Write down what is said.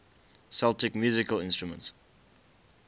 celtic musical instruments